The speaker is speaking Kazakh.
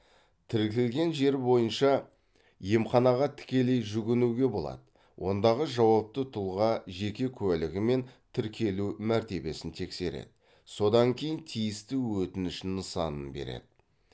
тіркілген жер бойынша емханаға тікелей жүгінуге болады ондағы жауапты тұлға жеке куәлігі мен тіркелу мәртебесін тексереді содан кейін тиісті өтініш нысанын береді